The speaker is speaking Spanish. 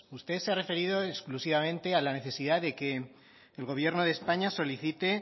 usted se ha referido exclusivamente a la necesidad de que el gobierno de españa solicite